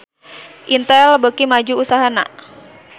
Intel beuki maju usahana